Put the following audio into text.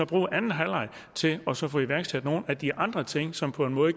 bruge anden halvleg til også at få iværksat nogle af de andre ting som på en måde